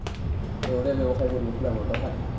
সেইবোৰে ব্যৱসায় কৰি আছোঁ না বৰ্তমান।